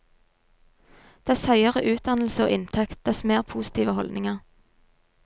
Dess høyere utdannelse og inntekt, dess mer positive holdninger.